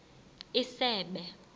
isebe